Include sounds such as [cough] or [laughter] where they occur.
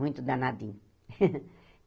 Muito danadinho. [laughs]